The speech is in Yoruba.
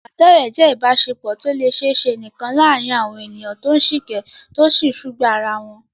Ìbádọ́rẹ̀ẹ́ jẹ́ ìbáṣepọ̀ tó lè ṣiṣẹ́ nìkan láàárín àwọn ènìyàn tó ń sìkẹ́, tó sì ń sùgbàá ara wọn.